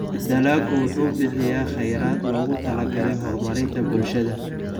Dalaggu wuxuu bixiyaa kheyraad loogu talagalay horumarinta bulshada.